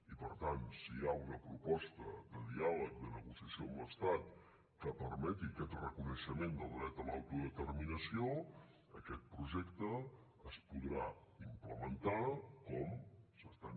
i per tant si hi ha una proposta de diàleg de negociació amb l’estat que permeti aquest reconeixement del dret a l’autodeterminació aquest projecte es podrà implementar com s’està